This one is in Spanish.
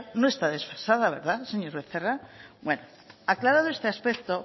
no está desfasada verdad señor becerra bueno aclarado este aspecto